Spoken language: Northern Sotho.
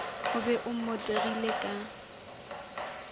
o be o mmotegile ka